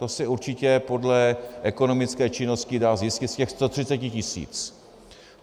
To se určitě podle ekonomické činnosti dá zjistit z těch 130 tisíc.